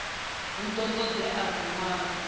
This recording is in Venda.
hu ḓo ṱo ḓea luṅwalo